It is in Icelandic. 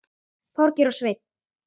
Þorgeir og Sveinn.